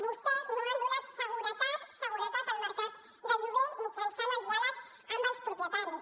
vostès no han donat seguretat al mercat de lloguer mitjançant el diàleg amb els propietaris